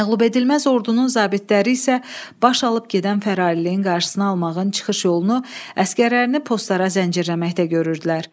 Məğlubedilməz ordunun zabitləri isə baş alıb gedən fərariliyin qarşısını almağın çıxış yolunu əsgərlərini postlara zəncirləməkdə görürdülər.